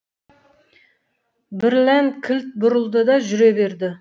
бірлән кілт бұрылды да жүре берді